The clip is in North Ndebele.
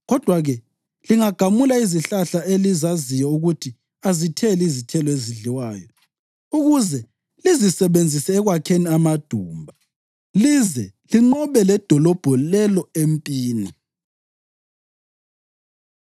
Kodwa-ke lingagamula izihlahla elizaziyo ukuthi azitheli izithelo ezidliwayo ukuze lizisebenzise ekwakheni amadumba lize linqobe ledolobho lelo empini.”